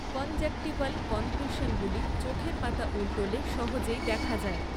Conjunctival কনক্রিশনগুলি চোখের পাতা উল্টোলে সহজেই দেখা যায়।